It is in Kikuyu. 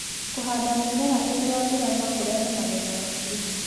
Kũhanda mĩmera hĩndĩ ya mbura no kũrehe magetha maingĩ